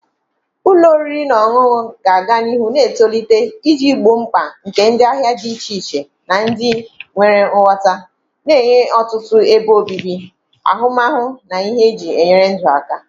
Ụlọ oriri na ọṅụṅụ ga-aga n'ihu na-etolite iji gboo mkpa nke ndị ahịa dị iche iche na ndị nwere nghọta, na-enye ọtụtụ ebe obibi, ahụmahụ na ihe eji enyere ndụ aka.